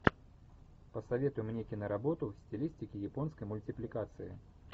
посоветуй мне киноработу в стилистике японской мультипликации